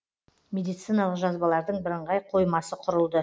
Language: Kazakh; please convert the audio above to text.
медициналық жазбалардың бірыңғай қоймасы құрылды